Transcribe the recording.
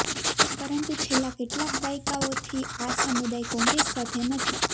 પરંતુ છેલ્લાં કેટલાંક દાયકાઓથી આ સમુદાય કોંગ્રેસ સાથે નથી